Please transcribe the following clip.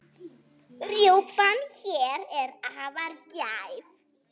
Rjúpan hér er afar gæf.